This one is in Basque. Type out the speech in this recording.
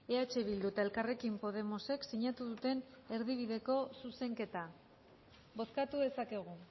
eh bildu eta elkarrekin podemosek sinatu duten erdibideko zuzenketa bozkatu dezakegu